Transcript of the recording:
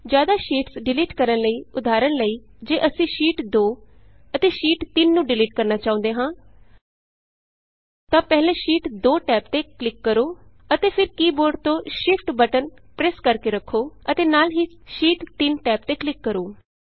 ਜ਼ਿਆਦਾ sheets delete ਕਰਨ ਲਈ ਉਦਾਹਰਣ ਲਈ ਜੇ ਅਸੀਂ ਸ਼ੀਟ 2 ਸ਼ੀਟ 2 ਅਤੇ ਸ਼ੀਟ 3 ਸ਼ੀਟ 3 ਨੂੰ ਡਿਲੀਟ ਕਰਨਾ ਚਾਹੁੰਦੇ ਹਾਂ ਤਾਂ ਪਹਿਲਾਂ ਸ਼ੀਟ 2 ਟੈਬ ਤੇ ਕਲਿਕ ਕਰੋ ਅਤੇ ਫਿਰ ਕੀ ਬੋਰਡ ਤੋਂ ਸ਼ਿਫਟ ਸ਼ਿਫਟ ਬਟਨ ਪ੍ਰੈੱਸ ਕਰਕੇ ਰੱਖੋ ਅਤੇ ਨਾਲ ਹੀ ਸ਼ੀਟ 3 ਟੈਬ ਤੇ ਕਲਿਕ ਕਰੋ